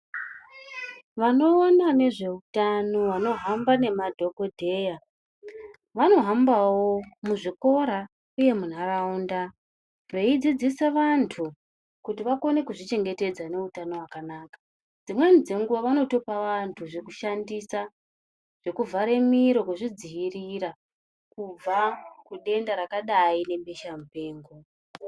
Vanoona nezveutano vanohamba nemadhokodheya, vanohambawo muzvikora uye munharaunda veidzidzisa vantu kuti vakone kuzvichengetedza neutano hwakanaka. Dzimweni dzenguva vanotopa vanhu zvekushandisa, zvekuvhare miro kuzvidzivirira kubva kudenda rakadai rebesha mupengo.